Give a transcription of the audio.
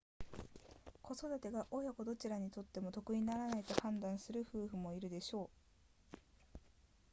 子育てが親子どちらにとっても得にならないと判断する夫婦もいるでしょう